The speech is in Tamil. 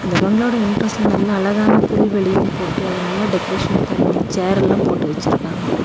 அந்த பங்களாவோட என்ட்ரன்ஸ்ல நல்லா அழகான புல்வெளியு போட்டு அது நல்லா டெக்கரேஷன் பண்ணி சேர் எல்லா போட்டு வச்சுருக்காங்க.